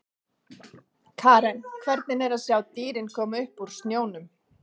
Karen: Hvernig er að sjá dýrin koma upp úr snjónum?